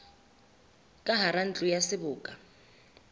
ka hara ntlo ya seboka